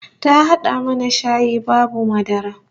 Ta hada mana shayi babu madara